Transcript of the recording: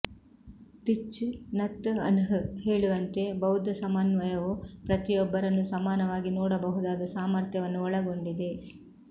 Thich Nhat Hanh ಹೇಳುವಂತೆ ಬೌದ್ಧ ಸಮನ್ವಯವು ಪ್ರತಿಯೊಬ್ಬರನ್ನು ಸಮನಾಗಿ ನೋಡಬಹುದಾದ ಸಾಮರ್ಥ್ಯವನ್ನು ಒಳಗೊಂಡಿದೆ